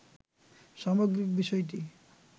সামগ্রিক বিষয়টি